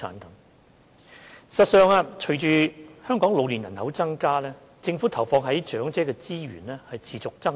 事實上，隨着香港老年人口增加，政府投放在長者的資源持續增長。